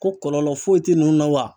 Ko kɔlɔlɔ foyi tɛ ninnu na wa?